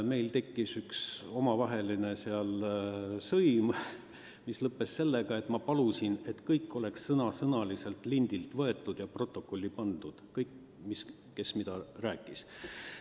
Meil tekkis seal omavaheline sõim, mis lõppes sellega, et ma palusin kõik sõna-sõnalt lindilt protokolli panna – kõik, kes mida rääkis.